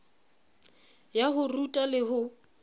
ya ho ruta le ho